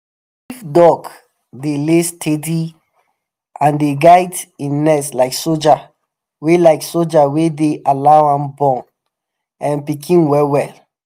if duck dey lay steady and dey guide e nest like soldier we like soldier we deh allow am born um pikin well well.